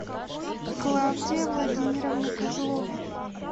клавдия владимировна козлова